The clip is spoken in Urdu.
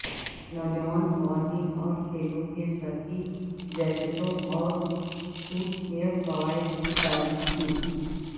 نوجوان خواتین اور کھیلوں کے سکی جیکٹوں اور سوٹ کے فوائد کی تعریف کی